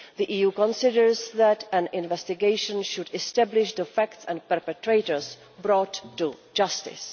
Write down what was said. The EU considers that an investigation should establish the facts and the perpetrators be brought to justice.